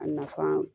A nafa